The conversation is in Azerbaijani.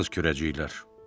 Kağız kürəciklər.